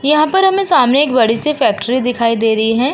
यहां पर हमें सामने एक बड़ी-सी फैक्ट्री दिखाई दे रही है।